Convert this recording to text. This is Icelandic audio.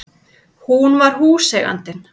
Hún var húseigandinn!